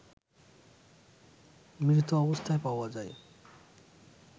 মৃত অবস্থায় পাওয়া যায়